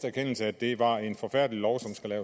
erkendelse af at det var en forfærdelig og